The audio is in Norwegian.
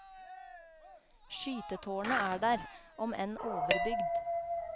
Skytetårnet er der, om enn overbygd.